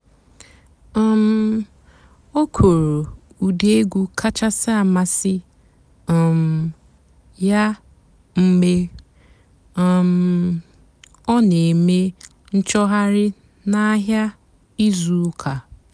um ó kwùrú ụ́dị́ ègwú kàchàsị́ àmásị́ um yá mg̀bé um ọ́ nà-èmè ǹchọ́ghàrị́ nà àhị́á ìzú ụ́kà.